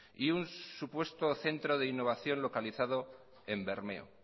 y un supuesto centro de innovación localizado en bermeo